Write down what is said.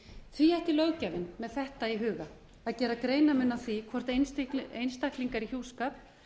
því ætti löggjafinn með þetta í huga að gera greinarmun á því hvort einstaklingar í hjúskap